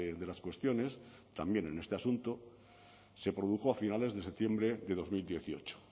de las cuestiones también en este asunto se produjo a finales de septiembre de dos mil dieciocho